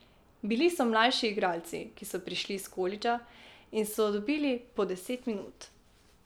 Bili so mlajši igralci, ki so prišli s kolidža, in so dobili po deset minut.